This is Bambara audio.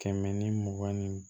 Kɛmɛ ni mugan ni